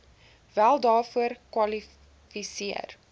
wel daarvoor kwalifiseer